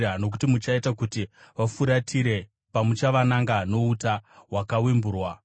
nokuti muchaita kuti vafuratire, pamuchavananga nouta hwakawemburwa.